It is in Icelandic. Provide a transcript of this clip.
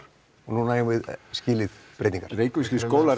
núna eigum við skilið breytingar reykvískir skólar